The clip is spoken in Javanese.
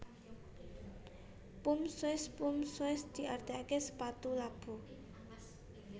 Pump Shoes Pump shoes diartiké sepatu labu